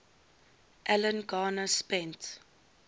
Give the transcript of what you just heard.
alan garner spent